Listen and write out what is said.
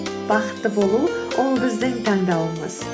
бақытты болу ол біздің таңдауымыз